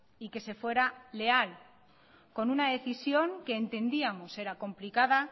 y que se fuera leal con una decisión que entendíamos era complicada